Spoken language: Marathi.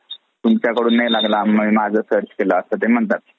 तुमच्या कडून नाही लागलं आम्ही आमचं search केलं असं ते म्हणतात.